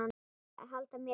Að halda mér í Júlíu.